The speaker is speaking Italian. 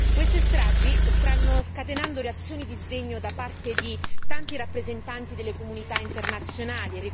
Queste stragi stanno scatenando reazioni di sdegno da parte di tanti rappresentanti delle comunità internazionali.